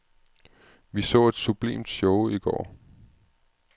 Vi så et sublimt show I går.